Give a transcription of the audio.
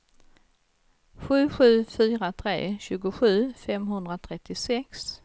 sju sju fyra tre tjugosju femhundratrettiosex